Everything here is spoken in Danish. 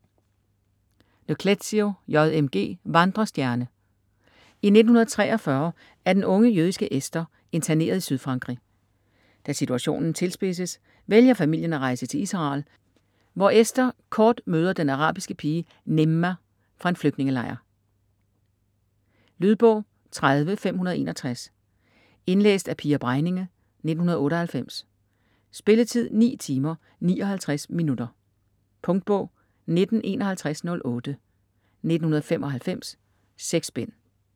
Le Clézio, J. M. G.: Vandrestjerne I 1943 er den unge jødiske Esther interneret i Sydfrankrig. Da situationen tilspidses, vælger familien at rejse til Israel, hvor Esther kort møder den arabiske pige Nejma fra en flygtningelejr. Lydbog 30561 Indlæst af Pia Bregninge, 1998. Spilletid: 9 timer, 59 minutter. Punktbog 195108 1995. 6 bind.